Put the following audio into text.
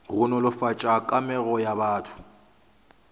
go nolofatša kamego ya batho